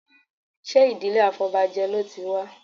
Ṣé ìdílé afọbajẹ ló ti wá?